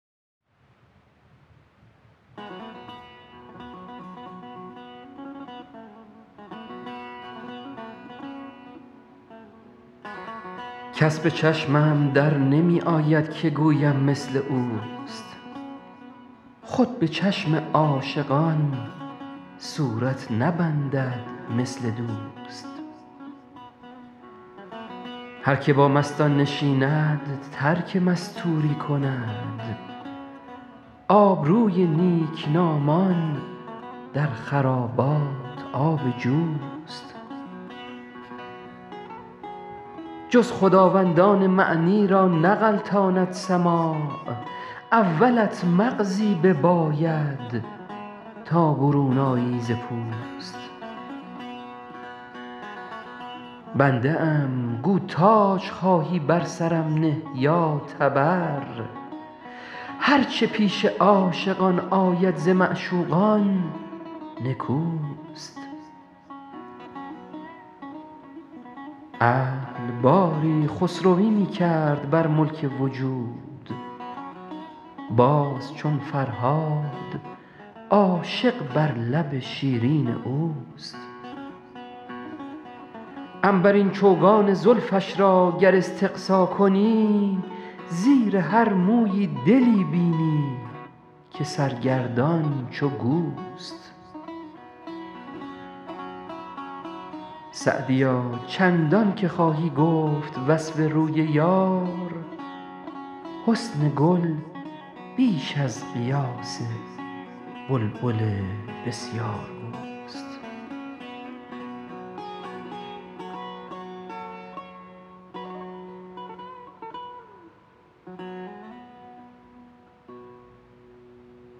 کس به چشمم در نمی آید که گویم مثل اوست خود به چشم عاشقان صورت نبندد مثل دوست هر که با مستان نشیند ترک مستوری کند آبروی نیکنامان در خرابات آب جوست جز خداوندان معنی را نغلطاند سماع اولت مغزی بباید تا برون آیی ز پوست بنده ام گو تاج خواهی بر سرم نه یا تبر هر چه پیش عاشقان آید ز معشوقان نکوست عقل باری خسروی می کرد بر ملک وجود باز چون فرهاد عاشق بر لب شیرین اوست عنبرین چوگان زلفش را گر استقصا کنی زیر هر مویی دلی بینی که سرگردان چو گوست سعدیا چندان که خواهی گفت وصف روی یار حسن گل بیش از قیاس بلبل بسیارگوست